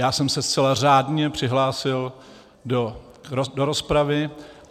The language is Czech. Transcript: Já jsem se zcela řádně přihlásil do rozpravy.